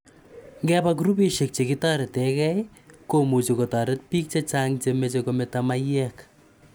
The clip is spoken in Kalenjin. Nvepa grupishek chekitareti ge komuchi kotareti piik che chang' che mache kometa maiyek.